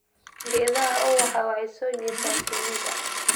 Geedaha ubaxu waxay soo jiitaan shinnida.